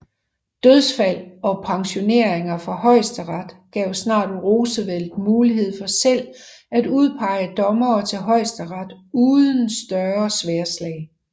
Dødsfald og pensioneringer fra Højesteret gav snart Roosevelt mulighed for selv at udpege dommere til Højesteret uden større sværdslag